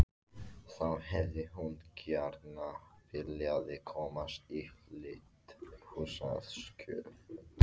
Þá hefði hún gjarna viljað komast í hlýtt húsaskjól.